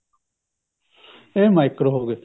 ਆਹ micro ਹੋ ਗਏ